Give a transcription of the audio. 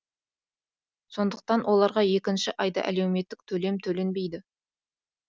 сондықтан оларға екінші айда әлеуметтік төлем төленбейді